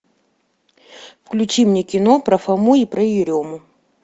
включи мне кино про фому и про ерему